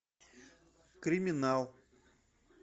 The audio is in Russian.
криминал